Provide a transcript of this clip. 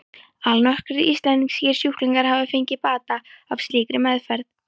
Allnokkrir íslenskir sjúklingar hafa fengið bata af slíkri meðferð.